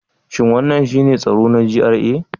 Shin wannan shine tsaro na GRA?